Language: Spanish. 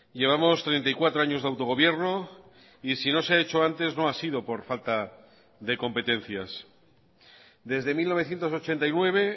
llevamos treinta y cuatro años de autogobierno y si no se ha hecho antes no ha sido por falta de competencias desde mil novecientos ochenta y nueve